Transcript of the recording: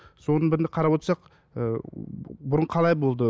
соның бірінде қарап отырсақ ыыы бұрын қалай болды